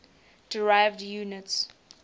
derived units